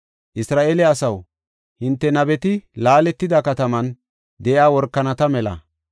Isra7eele asaw, hinte nabeti laaletida kataman de7iya workanata mela.